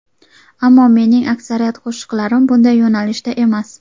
Ammo mening aksariyat qo‘shiqlarim bunday yo‘nalishda emas.